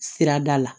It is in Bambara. Sirada la